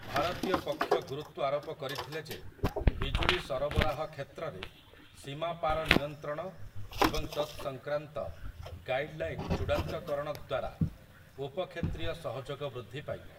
ଭାରତୀୟ ପକ୍ଷ ଗୁରୁତ୍ୱ ଆରୋପ କରିଥିଲେ ଯେ ବିଜୁଳି ସରବରାହ କ୍ଷେତ୍ରରେ ସୀମାପାର ନିୟନ୍ତ୍ରଣ ଏବଂ ତତ୍‌ସଂକ୍ରାନ୍ତ ଗାଇଡ଼ଲାଇନ ଚୂଡ଼ାନ୍ତକରଣ ଦ୍ୱାରା ଉପ କ୍ଷେତ୍ରୀୟ ସହଯୋଗ ବୃଦ୍ଧି ପାଇବ ।